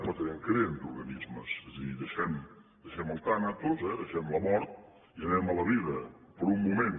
però també en creen d’organismes és a dir deixem el tànatos eh deixem la mort i anem a la vida per un moment